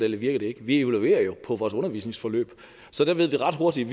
ikke virker vi leverer jo på vores undervisningsforløb så der ved vi ret hurtigt